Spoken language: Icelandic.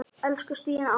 Elsku Stína amma.